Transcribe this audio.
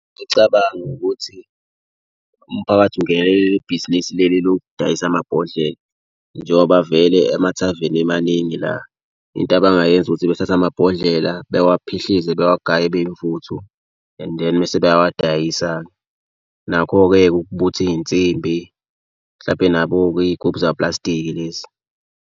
Ngicabanga ukuthi umphakathi ungenelele leli bhizinisi leli lokudayisa amabhodlela njengoba vele amathaveni emaningi la. Into abangayenza ukuthi bethathe amabhodlela bewaphihlize bewagaye ebe yimvuthu and then mese beyawadayisa-ke. Nakho-ke ukubutha iy'nsimbi mhlampe nabo-ke iy'gubhu zaplastiki lezi.